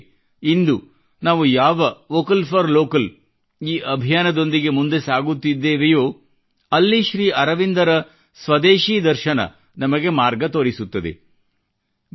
ಉದಾಹರಣೆಗೆ ಇಂದು ನಾವು ಯಾವ ವೋಕಲ್ ಫಾರ್ ವೋಕಲ್ ಈ ಅಭಿಯಾನದೊಂದಿಗೆ ಮುಂದೆ ಸಾಗುತ್ತಿದ್ದೇವೆಯೋ ಅಲ್ಲಿ ಶ್ರೀ ಅರವಿಂದರ ಸ್ವದೇಶೀ ದರ್ಶನ ನಮಗೆ ಮಾರ್ಗ ತೋರಿಸುತ್ತದೆ